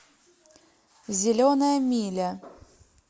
зеленая миля